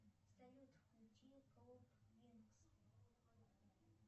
салют включи клуб винкс